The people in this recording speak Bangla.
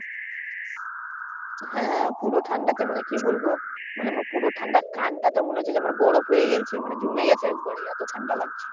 হ্যাঁ পুরা ঠান্ডাতে মানে কি বলব মানে পুরো ঠান্ডা আমার কান টা তো মনে হচ্ছে যে আমার বরফ হয়ে গেছে মানে জমে গেছে একেবারে এতো ঠান্ডা লাগছিল